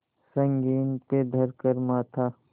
संगीन पे धर कर माथा